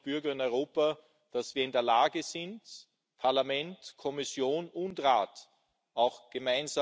zu haben. Und das ist erst mal gut. Wir sind auch froh, zu Transparenz und Informationsfreiheit ein bisschen beigetragen